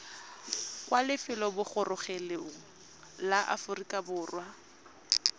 kwa lefelobogorogelong la aforika borwa